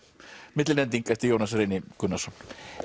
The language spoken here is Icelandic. millilending eftir Jónas Reyni Gunnarsson